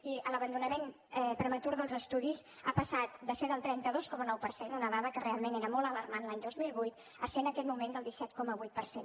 i l’abandonament prematur dels estudis ha passat de ser el trenta dos coma nou per cent una dada que realment era molt alarmant l’any dos mil vuit a ser en aquest moment del disset coma vuit per cent